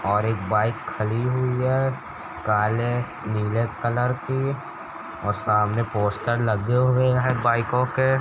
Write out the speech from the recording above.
और एक बाइक खड़ी हुई है काले नीले कलर की और सामने पोस्टर लगे हुए है बाइकों के |